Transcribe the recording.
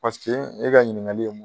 Paseke e ka ɲininkakali